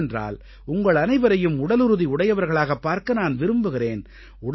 ஏனென்றால் உங்களனைவரையும் உடலுறுதி உடையவர்களாகப் பார்க்க நான் விரும்புகிறேன்